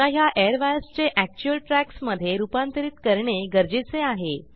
आता ह्या एअरवायर्स चे एक्चुअल ट्रॅक्स मधे रूपांतरित करणे गरजेचे आहे